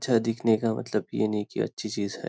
अच्छा दिखने का मतलब ये नहीं के अच्छी चीज़ है।